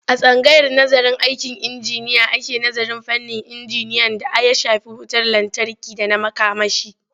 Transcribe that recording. A tsangayar nazarın aikin injiniya ake nazarin fannin injiniyan d aya shafi wutar lantarki da na makamashi.